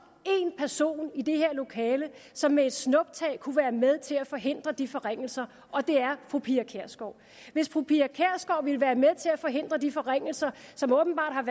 én person i det her lokale som med et snuptag kunne være med til at forhindre de forringelser og det er fru pia kjærsgaard hvis fru pia kjærsgaard ville være med til at forhindre de forringelser som åbenbart